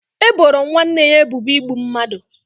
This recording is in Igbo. E boro nwanne ya ebubo igbu mmadụ